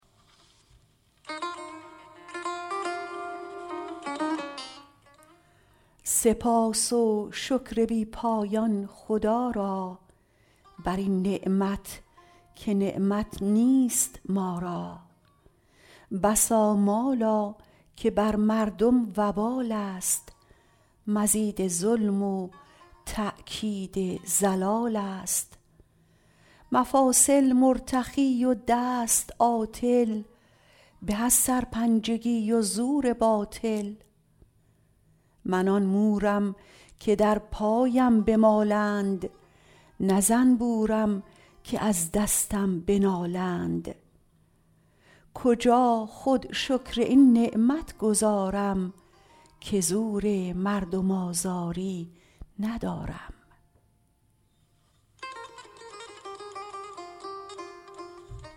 سپاس و شکر بی پایان خدا را برین نعمت که نعمت نیست ما را بسا مالا که بر مردم وبال است مزید ظلم و تأکید ضلال است مفاصل مرتخی و دست عاطل به از سرپنجگی و زور باطل من آن مورم که در پایم بمالند نه زنبورم که از دستم بنالند کجا خود شکر این نعمت گزارم که زور مردم آزاری ندارم